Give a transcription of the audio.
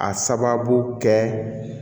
A sababu kɛ